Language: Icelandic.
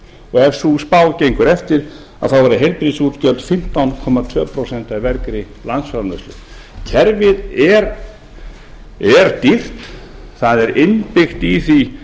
og ef sú spá gengur eftir verða heilbrigðisútgjöld fimmtán komma tvö prósent af vergri landsframleiðslu kerfið er dýrt það er innbyggt í því